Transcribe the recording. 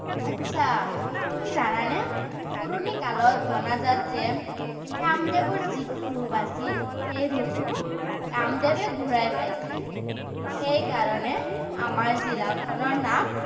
আটছা, তুমি জানানে, পুৰণিকালত জনাজাত যে কামদেৱৰ যিটো ৰূপ আছিল, সেই ৰূপটো কামদেৱে ঘুৰাই পাইছিল। সেইকাৰণে আমাৰ জিলাখনৰ নাম